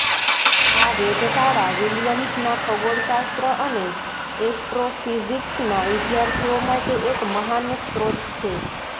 આ વેધશાળા વિલિયમ્સના ખગોળશાસ્ત્ર અને એસ્ટ્રોફિઝિક્સના વિદ્યાર્થીઓ માટે એક મહાન સ્ત્રોત છે